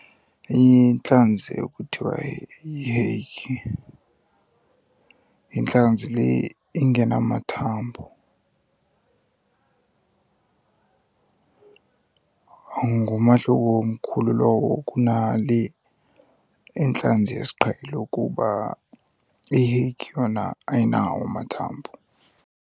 Intlanzi ekuthiwa yiheyikhi yintlanzi le ingenamathambo. Ngumahluko omkhulu lowo kunale intlanzi yesiqhelo, kuba iheyikhi yona ayinawo amathambo.